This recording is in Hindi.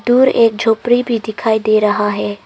दूर एक झोपड़ी भी दिखाई दे रहा है।